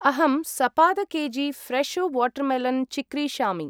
अहं सपाद के.जी. फ्रेशो वाटर्मेलन् चिक्रीषामि।